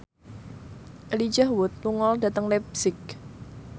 Elijah Wood lunga dhateng leipzig